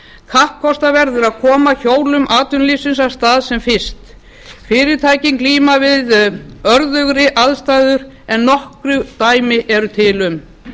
kappkosta verður að koma hjólum atvinnulífsins af stað sem fyrst fyrirtækin glíma við örðugri aðstæður en nokkur dæmi eru til um